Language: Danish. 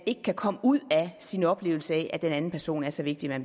ikke kan komme ud af oplevelsen af at den anden person er så vigtig at